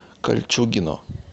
кольчугино